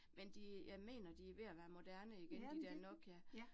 Men de, jeg mener, de ved at være moderne igen de der Nokia